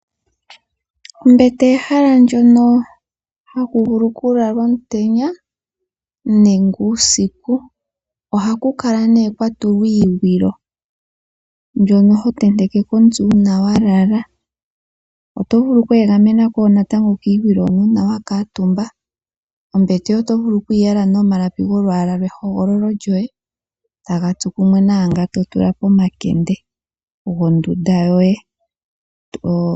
Ombete ehala ndyono haku vulu oku lakwa omutenya nenge uusiku. Ohaku kala kwatulwa iikga mbyono ho vulu okutenteka ko omutse uuna wa lala oto vulu wo okweeganena kiigwilo hono uuna wa kuutumba. Oto vulu okuyi yala nomalapi ge hogololo lyoye taga tsu kumwe naanga to tula pomakende gondunda yoye.